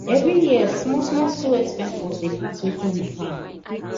every year small small school expenses dey pass wetin we plan